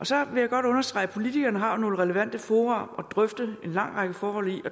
så vil jeg godt understrege at politikerne har nogle relevante fora at drøfte en lang række forhold